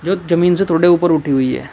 जमीन से थोड़े ऊपर उठी हुई है।